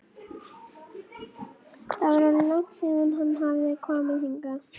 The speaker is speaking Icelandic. Það var orðið langt síðan hann hafði komið hingað.